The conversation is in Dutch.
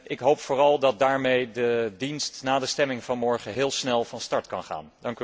Ik hoop vooral dat daarmee de dienst, na de stemming van morgen, heel snel van start kan gaan.